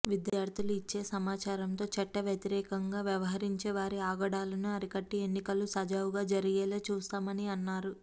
విద్యార్థులు ఇచ్చే సమాచారంతో చట్ట వ్యతిరేఖగా వ్యవహించే వారి ఆగడాలను అరికట్టి ఎన్నికలు సజావుగా జరిగేల చూస్తామని అన్నారు